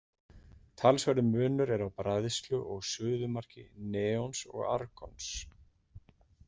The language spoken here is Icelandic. Talsverður munur er á bræðslu og suðumarki neons og argons.